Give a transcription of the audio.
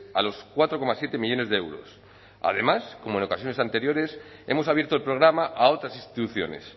a los cuatro coma siete millónes de euros además como en ocasiones anteriores hemos abierto el programa a otras instituciones